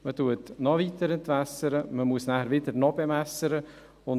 Man entwässert noch weiter, man muss nachher wieder bewässern.